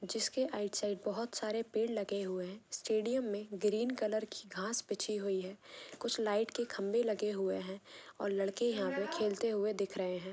जिसके right side बहुत सरे पेड़ लगे हुए है स्टेडियम में ग्रीन कलर की घास बिच्छी हुए है कुछ लाइट के खंभे लगे हुए है और लड़के यहां पर खेलते हुए दिख रहे हैं।